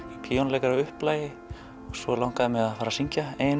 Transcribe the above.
píanóleikari að upplagi og svo langaði mig að fara að syngja eigin